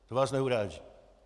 To vás neuráží.